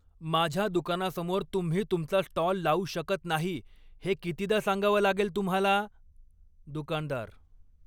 माझ्या दुकानासमोर तुम्ही तुमचा स्टॉल लावू शकत नाही हे कितीदा सांगावं लागेल तुम्हाला? दुकानदार